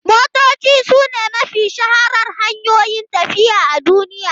Motoci sune mafi shaharar hanyoyin tafiya i a duniya.